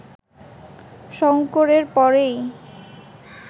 শঙ্করের পরেই